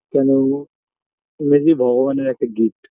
কেন মেসি ভগবানের একটা Gift